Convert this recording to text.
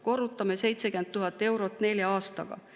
Korrutame 70 000 eurot nelja aastaga.